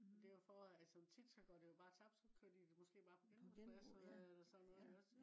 og det jo for at som tit så går det jo bare tabt så kører de måske bare på genbrugspladsen eller sådan noget iggås